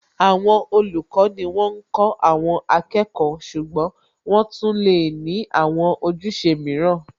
Àwọn olùkọ́ ni wọ́n ń kó àwọn akẹ́kọ̀ọ́ ṣùgbọ́n wọ́n tún lè ní àwọn ojúṣe mìíràn